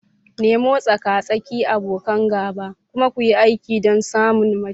Nemo tsaka-tsaki, abokan gaba, kuma kuyi aiki don samun mafita.